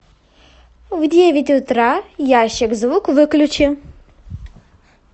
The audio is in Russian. в девять утра ящик звук выключи